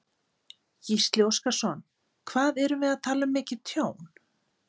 Gísli Óskarsson: Hvað erum við að tala um mikið tjón?